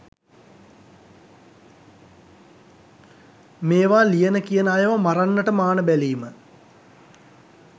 මේවා ලියන කියන අයව මරන්නට මාන බැලීම